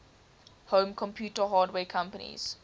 home computer hardware companies